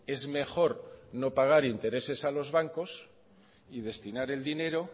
es mejor no pagar intereses a los bancos y destinar el dinero